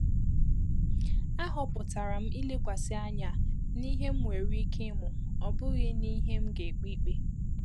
Ahọpụtara m ilekwasị anya n’ihe m nwere ike ịmụ, ọ bụghị n’ihe m ga-ekpe ikpe.